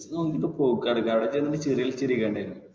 പൈസ നോക്കിട്ട് പോക്ക് നടക്ക അവിടെ ചെന്നിട്ട് വരും.